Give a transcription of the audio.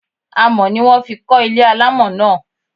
Amọ̀ ni wón fi kọ́ ilé alámọ̀ náà.